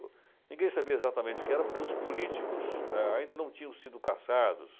ninguém sabia exatamente o que era porque os políticos, eh, ainda não tinham sido caçados.